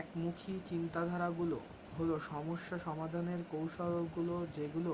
একমুখী চিন্তাধারাগুলো হল সমস্যা সমাধানের কৌশলগুলো যেগুলো